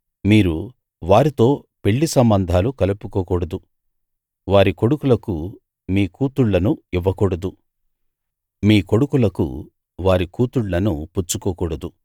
మీరు వారితో పెళ్ళి సంబంధాలు కలుపుకోకూడదు వారి కొడుకులకు మీ కూతుళ్ళను ఇవ్వకూడదు మీ కొడుకులకు వారి కూతుళ్ళను పుచ్చుకోకూడదు